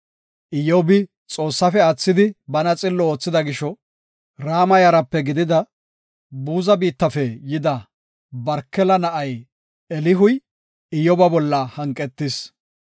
Iyyobi Xoossaafe aathidi bana xillo oothida gisho, Rama yarape gidida Buza biittafe yida Barkela na7ay Elihuy Iyyoba bolla hanqetis.